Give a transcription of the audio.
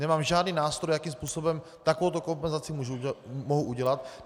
Nemám žádný nástroj, jakým způsobem takovouto kompenzaci mohu udělat.